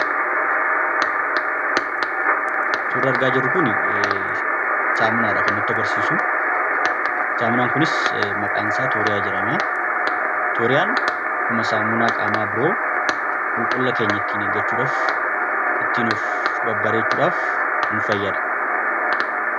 Suurri argaa jirru kun Saamunaadha. Kan natti agarsiisu saamunaan kunis maqaan isaa Tooriyaa jedhama. Tooriyaan akkuma saamunaa qaamaa biroo qulqullina keenya ittiin eeggachuuf ittiin of babbareechuudhaaf nufayyada.